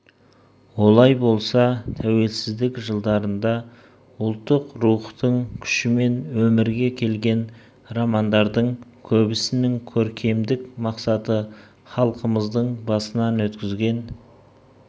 олай болса тәуелсіздік жылдарында ұлттық рухтың күшімен өмірге келген романдардың көбісінің көркемдік мақсаты халқымыздың басынан өткізген